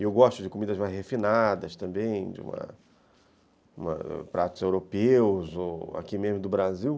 E eu gosto de comidas mais refinadas também, de uma, de pratos europeus ou aqui mesmo do Brasil.